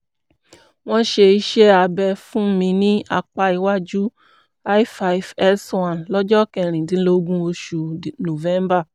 wọ́n ṣe iṣẹ́ iṣẹ́ abẹ fún mi ní apá iwájú l5 s1 lọ́jọ́ kẹrìndínlógún oṣù november